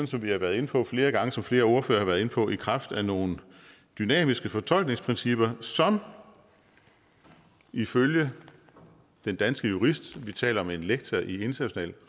som vi har været inde på flere gange og som flere ordførere har været inde på i kraft af nogle dynamiske fortolkningsprincipper som ifølge den danske jurist vi taler om en lektor i international